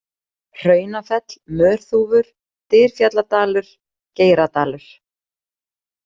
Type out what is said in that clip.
Hraunafell, Mörþúfur, Dyrfjalladalur, Geiradalur